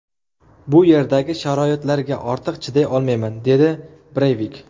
Bu yerdagi sharoitlarga ortiq chiday olmayman”, dedi Breyvik.